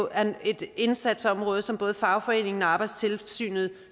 at det er et indsatsområde som både fagforeningen og arbejdstilsynet